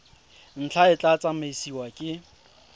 ntlha e tla tsamaisiwa ke